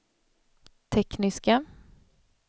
tekniska